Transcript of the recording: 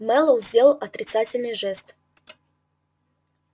мэллоу сделал отрицательный жест